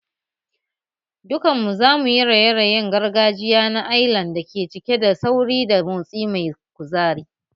Dukanmu za mu yi raye-rayen gargajiya na Ailan da ke cike da sauri da motsi mai kuzari